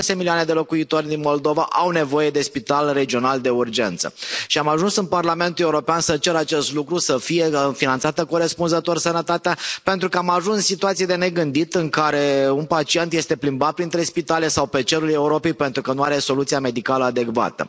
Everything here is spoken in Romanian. Șase milioane de locuitori din Moldova au nevoie de spital regional de urgență, și am ajuns în Parlamentul European să cer acest lucru, să fie finanțată corespunzător sănătatea, pentru că am ajuns în situații de negândit în care un pacient este plimbat între spitale sau pe cerul Europei pentru că nu are soluția medicală adecvată.